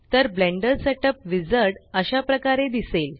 तर Blender setup wizard अशा प्रकारे दिसेल